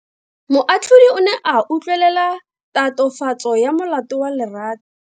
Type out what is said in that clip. Moatlhodi o ne a utlwelela tatofatso ya molato wa Lerato.